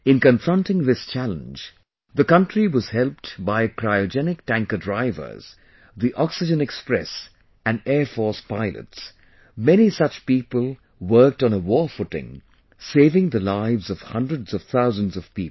In confronting this challenge, the country was helped by cryogenic tanker drivers, the Oxygen Express and Air Force pilots...many such people worked on a war footing, saving the lives of hundreds of thousands of people